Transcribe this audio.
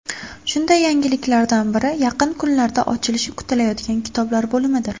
Shunday yangiliklardan biri yaqin kunlarda ochilishi kutilayotgan kitoblar bo‘limidir.